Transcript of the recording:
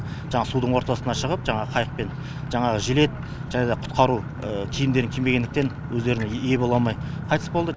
жаңағы судың ортасына шығып жаңағы қайықпен жаңағы жилет және де құтқару киімдерін кимегендіктен өздеріне ие бола алмай қайтыс болды